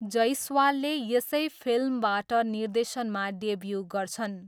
जैसवालले यसै फिल्मबाट निर्देशनमा डेब्यू गर्छन्।